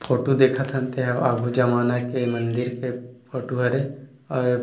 photo देखथन तेहा आगु जमाना के मंदिर के फोटो हरे अउ --